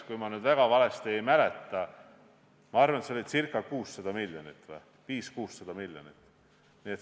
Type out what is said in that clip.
Kui ma väga valesti ei mäleta, siis ma arvan, et see oli ca 600 miljonit, 500–600 miljonit.